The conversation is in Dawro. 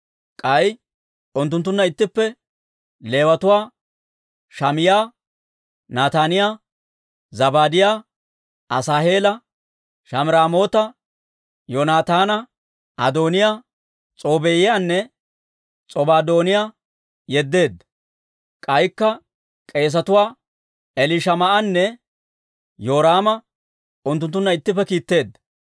K'ay unttunttunna ittippe Leewatuwaa Shamaa'iyaa, Nataaniyaa, Zabaadiyaa, Asaaheela, Shamiraamoota, Yoonataana, Adooniyaa, S'oobbiyaanne S'obaadooniyaa yeddeedda; k'aykka k'eesetuwaa Elishamaa'anne Yoraama unttunttunna ittippe kiitteedda.